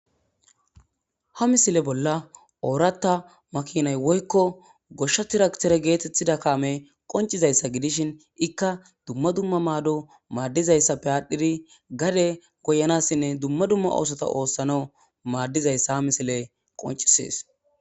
Ha misile bolla oratha makinay woykko goshsha traktere geetetida kaamey qonccidayssa gidishin ikka dumma dumma maado madizayssappe aadhidi gade goyanassinne dumma dumma oothota oothanaw madizayssa ha misiley qonccisees.